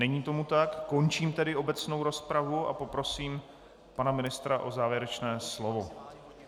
Není tomu tak, končím tedy obecnou rozpravu a poprosím pana ministra o závěrečné slovo.